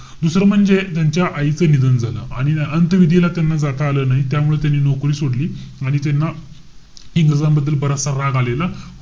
दुसरं म्हणजे, त्यांच्या आईच निधन झालं. आणि आ~ अंतविधीला त्यांना जाता आलं नाही. त्यामुळे त्यांनी नौकरी सोडली. आणि त्यांना इंग्रजांबद्दल बराचसा राग आलेला.